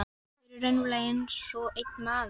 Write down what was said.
Þau eru raunverulega einsog einn maður.